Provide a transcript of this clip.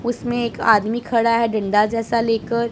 उसमें एक आदमी खड़ा है डंडा जैसा लेकर--